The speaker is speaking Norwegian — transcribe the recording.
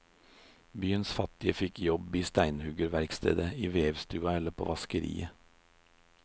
Byens fattige fikk jobb i steinhuggerverkstedet, i vevstua eller på vaskeriet.